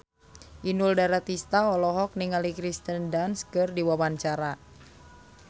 Inul Daratista olohok ningali Kirsten Dunst keur diwawancara